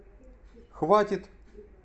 хватит